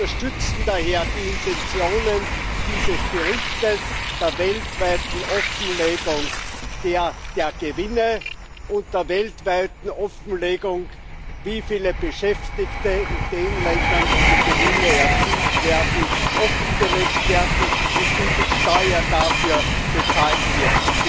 Wir unterstützen daher die Intentionen dieses Berichtes der weltweiten Offenlegung der Gewinne und der weltweiten Offenlegung, wie viele Beschäftigte in den Ländern, wo die Gewinne erzielt werden, tätig sind, und wie viel Steuer dafür bezahlt wird.